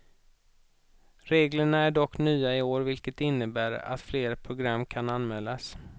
Reglerna är dock nya i år vilket innebär att flera program kan anmälas.